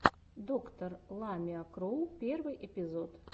доктор ламиа кроу первый эпизод